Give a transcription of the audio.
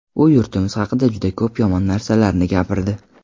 U yurtimiz haqida juda ko‘p yomon narsalarni gapirdi.